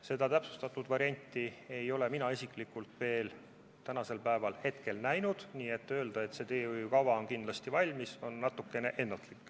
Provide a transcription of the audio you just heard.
Seda täpsustatud varianti ei ole mina isiklikult veel näinud, nii et öelda, et teehoiukava on kindlasti valmis, on natukene ennatlik.